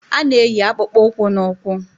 A na-eyi akpụkpọụkwụ n'ụkwụ